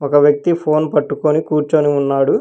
ఒక వ్యక్తి ఫోన్ పట్టుకొని కూర్చొని ఉన్నాడు.